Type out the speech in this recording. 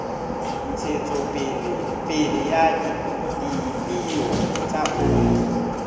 ntshetsopele ya dipeo tsa oli